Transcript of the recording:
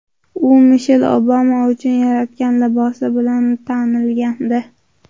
U Mishel Obama uchun yaratgan libosi bilan tanilgandi.